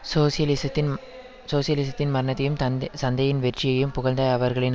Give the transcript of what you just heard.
சோசியலிசத்தின் சோசியலிசத்தின் மரணத்தையும் சந்தையின் வெற்றியையும் புகழ்ந்த அவர்களின்